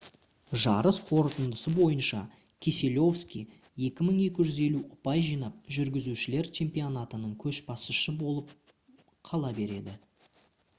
жарыс қорытындысы бойынша кеселовский 2250 ұпай жинап жүргізушілер чемпионатының көшбасшысы болып қала береді